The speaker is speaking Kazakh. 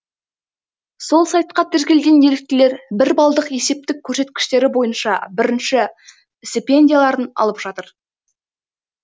сол сайтқа тіркелген еріктілер бір балдық есептік көрсеткіштері бойынша бірінші стипендияларын алып жатыр